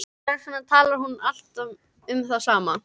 Hvers vegna talar hún alltaf um það sama?